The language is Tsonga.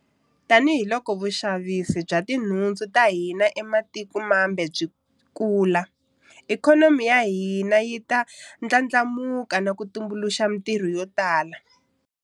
Tanihiloko vuxavisi bya ti nhundzu ta hina ematikweni mambe byi kula, ikhonomi ya hina yi ta ndlandlamuka na ku tumbuluxa mitirho yo tala.